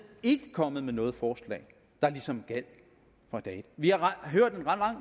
kommet med noget forslag der ligesom gjaldt fra dag et vi har hørt en lang